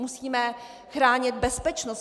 Musíme chránit bezpečnost.